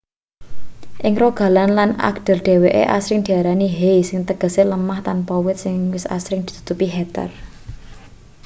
ing rogaland lan agder dheweke asring diarani hei sing tegese lemah tanpa wit sing asring ditutupi heather